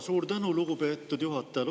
Suur tänu, lugupeetud juhataja!